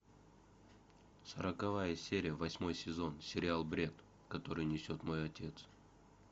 сороковая серия восьмой сезон сериал бред который несет мой отец